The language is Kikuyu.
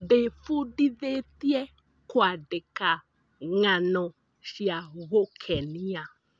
Ndĩbundithĩtie kũandĩka ng'ano cia gũkenia.